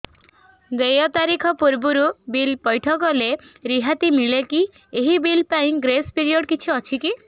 ଦେୟ ତାରିଖ ପୂର୍ବରୁ ବିଲ୍ ପୈଠ କଲେ ରିହାତି ମିଲେକି ଏହି ବିଲ୍ ପାଇଁ ଗ୍ରେସ୍ ପିରିୟଡ଼ କିଛି ଅଛିକି